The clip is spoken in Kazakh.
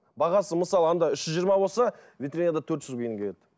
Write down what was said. бағасы мысалы анда үш жүз жиырма болса витринада төрт жүз